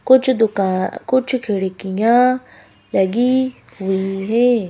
कुछ दुकां कुछ खिड़कियाँ लगी हुई हैं।